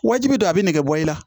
Wajibi don a bi nege bɔ i la